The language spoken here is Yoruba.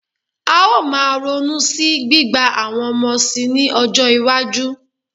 A ó máa ronú sí gbígba àwọn ọmọ síi ní ọjọ́-iwájú.